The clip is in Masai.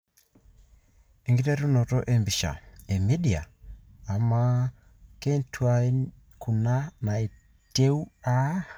Enkiterunoto empisha ,E media ama kentuain kuna natiu aa?